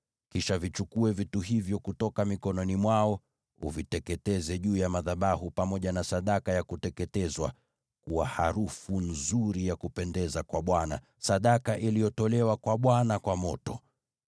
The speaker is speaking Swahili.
Kisha vichukue vitu hivyo kutoka mikononi mwao, uviteketeze juu ya madhabahu pamoja na sadaka ya kuteketezwa kuwa harufu nzuri ya kupendeza kwa Bwana , sadaka iliyotolewa kwa Bwana kwa moto.